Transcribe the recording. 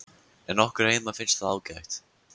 En okkur heima finnst það ágætt.